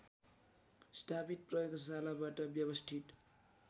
स्थापित प्रयोगशालाबाट व्यवस्थित